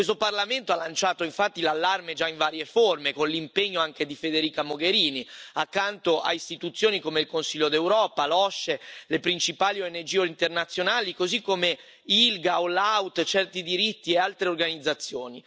Questo Parlamento ha lanciato infatti l'allarme già in varie forme, con l'impegno anche di Federica Mogherini, accanto a istituzioni come il Consiglio d'Europa, l'OSCE, le principali ONG internazionali, così come ILGA, AllOut, Certi Diritti e altre organizzazioni.